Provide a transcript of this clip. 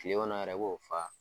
Kile kɔnɔ yɛrɛ i b'o fa.